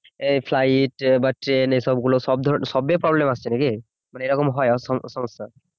এই ফ্লাইট বা ট্রেন এই সব গুলো সব ধরনের সব ই problem আসছে নাকি এরকম হয় স সমস্যা